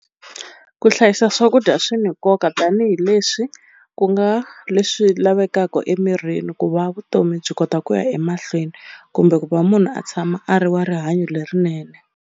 Ku hlayisa swakudya swi ni nkoka tanihileswi ku nga leswi lavekaka emirini ku va vutomi byi kota ku ya emahlweni kumbe ku va munhu a tshama a ri wa rihanyo lerinene.